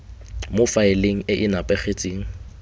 mo faeleng e e nepagetseng